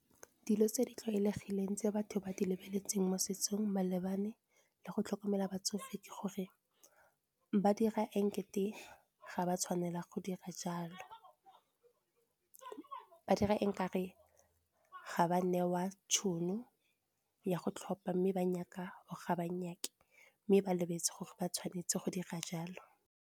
Dilo tse di tlwaelegileng tse batho ba di lebeletseng mo setsong malebana le go tlhokomela batsofe, ke gore ba dira [? ga ba tshwanela go dira jalo. Ba dira e o kare ga ba newa tšhono ya go tlhopha, mme ba nyaka o ga ba nyaka mme ba lebetse gore ba tshwanetse go dira jalo.